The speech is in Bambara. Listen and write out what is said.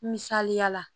Misaliya la